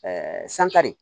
sankari